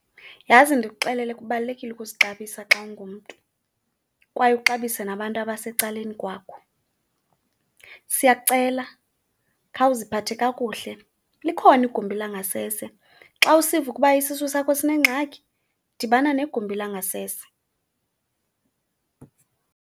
Yhazi ndikuxelele kubalulekile ukuzixabisa xa ungumntu kwaye uxabise nabantu abasecaleni kwakho. Siyakucela khawuziphathe kakuhle, likhona igumbi langasese. Xa usiva ukuba isisu sakho sinengxaki, dibana negumbi langasese.